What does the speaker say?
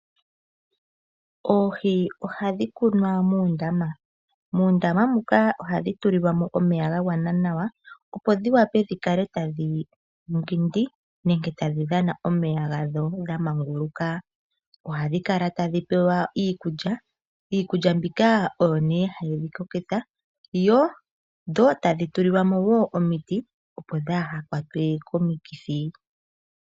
Oohi ohadhi kunwa muundama, moka hadhi tulilwa omeya gagwana nawa, opo dhiwape dhi kale tadhi mbwindi nenge tadhi dhana omeya gadho dha manguluka. Ohadhi kala tadhi pewa iikulya mbyono hayi dhi kokitha, dho tadhi tulilwamo wo omiti dhaa kwatwe komikithi.